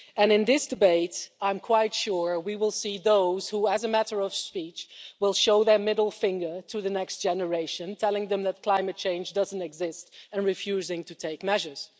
In this debate I'm quite sure we will see those who, in a matter of speaking, will show their middle finger to the next generation, telling them that climate change doesn't exist and refusing to take measures.